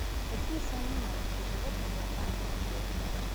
какие самые маленькие животные в зоопарке в отеле